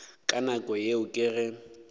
ka nako yeo ke ge